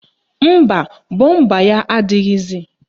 Mba, bọmba ya adịghịzi